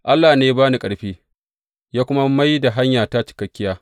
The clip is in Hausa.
Allah ne ya ba ni ƙarfi, ya kuma mai da hanyata cikakkiya.